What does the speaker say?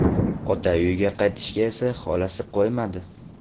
Ota uyiga qaytishiga esa xolasi qo‘ymadi.